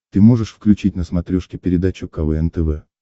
ты можешь включить на смотрешке передачу квн тв